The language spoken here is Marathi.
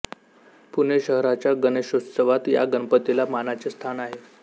पुणे शहराच्य गणेशोत्सवात या गणपतीला मानाचे स्थान आहे